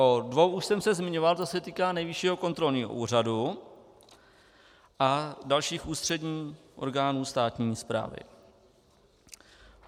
O dvou už jsem se zmiňoval, to se týká Nejvyššího kontrolního úřadu a dalších ústředních orgánů státní správy.